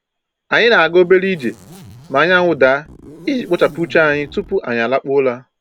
Anyị na-aga obere ije ma anyanwụ daa iji kpochapụ uche anyị tupu anyị lakpuo ụra.